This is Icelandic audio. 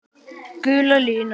Gula línan.